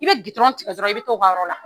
I bɛ gidɔrɔn tigɛ dɔrɔn, i bɛ taa o ka yɔrɔ la.